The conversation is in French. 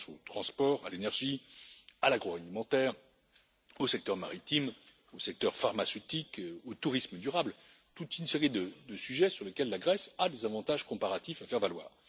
Je pense aux transports, à l'énergie, à l'agroalimentaire, au secteur maritime, au secteur pharmaceutique, au tourisme durable, à toute une série de sujets sur lesquels la Grèce a des avantages comparatifs à faire valoir.